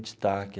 Destaque.